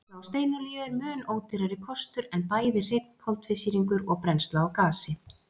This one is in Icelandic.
Brennsla á steinolíu er mun ódýrari kostur en bæði hreinn koltvísýringur og brennsla á gasi.